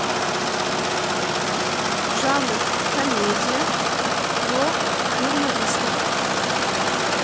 жанр комедия про журналистов